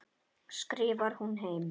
skrifar hún heim.